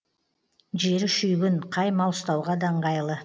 жері шүйгін қай мал ұстауға да ыңғайлы